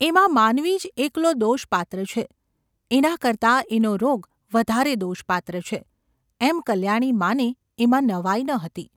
એમાં માનવી જ એકલો દોષપાત્ર છે, એના કરતાં એનો રોગ વધારે દોષપાત્ર છે એમ કલ્યાણી માને એમાં નવાઈ ન હતી.